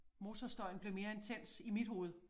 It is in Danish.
Motorstøjen blev mere intens i mit hoved